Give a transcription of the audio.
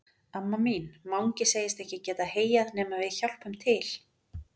Amma mín, Mangi segist ekki geta heyjað nema við hjálpum til.